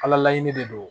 Ala laɲini de don